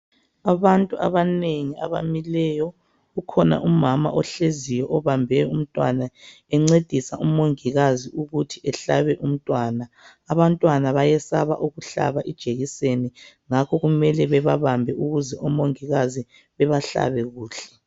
Abantu abanengi abamileyo ukhona umama ohleziyo obambe umntwana encedisa umongikazi ukuthi ehlabe umntwana abantwana bayesaba ukuhlaba ijekiseni ngakho kumele bebabambe ukwenzala ukuthi omongikazi bebahlabe kuhle